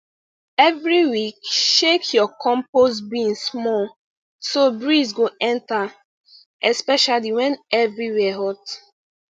every week shake your compost bin small so breeze go enter especially when everywhere hot